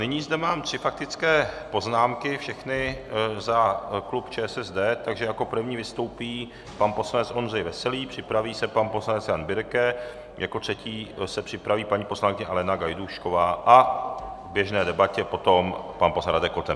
Nyní zde mám tři faktické poznámky, všechny za klub ČSSD, takže jako první vystoupí pan poslanec Ondřej Veselý, připraví se pan poslanec Jan Birke, jako třetí se připraví paní poslankyně Alena Gajdůšková a v běžné debatě potom pan poslanec Radek Koten.